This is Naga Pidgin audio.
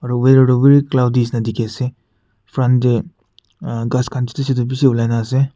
aro wether toh very cloudy shina dikhiase front tae ghas khan chutu chutu olai na ase.